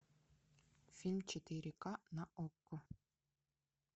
фильм четыре ка на окко